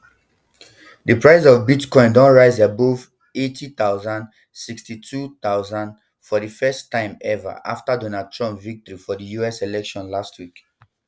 di price of bitcoin don rise above eighty thousand sixty-two thousand for di first time ever after donald trump victory for di us election last week